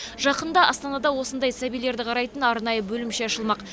жақында астанада осындай сәбилерді қарайтын арнайы бөлімше ашылмақ